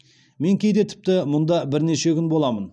мен кейде тіпті мұнда бірнеше күн боламын